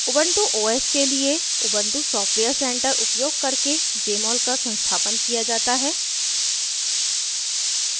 ubuntu os के लिए ubuntu software center उपयोग करके jmol का संस्थापन किया जाता है